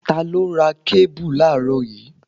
Ta ló ra kébù láàrọ́ yìí?